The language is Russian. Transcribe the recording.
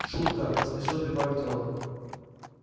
шутка поспешил прибавить рон